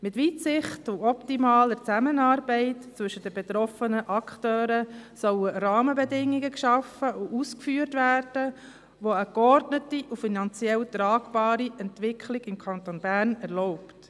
Mit Weitsicht und optimaler Zusammenarbeit zwischen den betroffenen Akteuren sollen Rahmenbedingungen geschaffen und ausgeführt werden, die eine geordnete und finanziell tragbare Entwicklung im Kanton Bern erlauben.